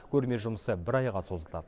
көрме жұмысы бір айға созылды